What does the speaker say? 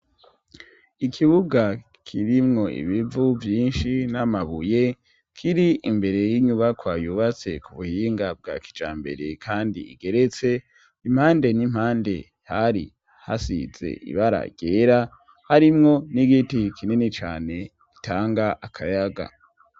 ikibuga kirimwo ibivu vyinshi n'amabuye kiri imbere n'inyubakwa yubatse ku buhinga bwa kijambere kandi igeretse impande n'impande hari hasize ibara ryera harimwo n'igiti kinini cane gitanga akayaga